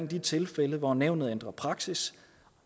de tilfælde hvor nævnet ændrer praksis